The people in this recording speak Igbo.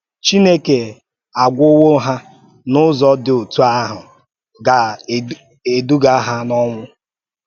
Chinèkè àgwòwò ha na Ụ̀zọ dị̀ otú ahụ̀ gà-èdùgà ha n’ọnwụ́